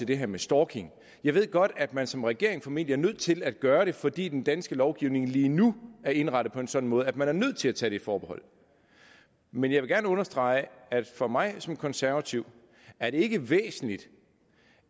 det her med stalking jeg ved godt at man som regering formentlig er nødt til at gøre det fordi den danske lovgivning lige nu er indrettet på en sådan måde at man er nødt til at tage det forbehold men jeg vil gerne understrege at for mig som konservativ er det ikke væsentligt